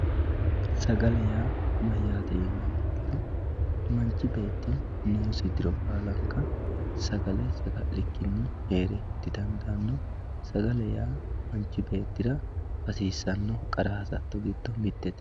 sagale yaa mayyate yiniha ikkiro manchi beetti noosi diro baalanka sagale saga'likkini heere didandaanno sagale yaa manchi beettira hasiissanno qara hasatto giddo mittete.